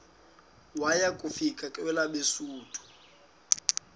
waya kufika kwelabesuthu